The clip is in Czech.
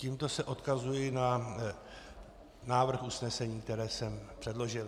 Tímto se odkazuji na návrh usnesení, které jsem předložil.